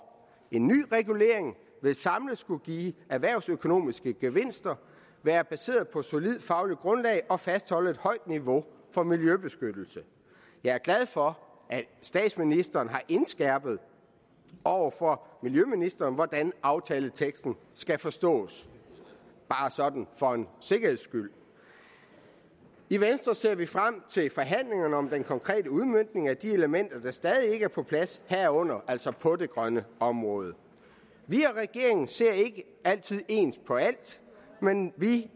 en ny regulering vil samlet skulle give erhvervsøkonomiske gevinster være baseret på et solidt fagligt grundlag og fastholde et højt niveau for miljøbeskyttelse jeg er glad for at statsministeren har indskærpet over for miljøministeren hvordan aftaleteksten skal forstås bare sådan for en sikkerheds skyld i venstre ser vi frem til forhandlingerne om den konkrete udmøntning af de elementer der stadig ikke er på plads herunder altså på det grønne område vi og regeringen ser ikke altid ens på alt men vi